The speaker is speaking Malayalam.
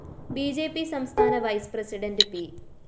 ബി ജെ പി സംസ്ഥാന വൈസ്‌ പ്രസിഡണ്ട് പി